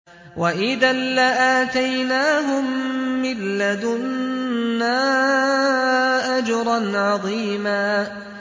وَإِذًا لَّآتَيْنَاهُم مِّن لَّدُنَّا أَجْرًا عَظِيمًا